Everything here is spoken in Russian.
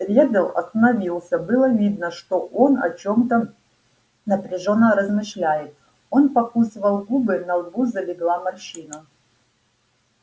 реддл остановился было видно что он о чем-то напряжённо размышляет он покусывал губы на лбу залегла морщина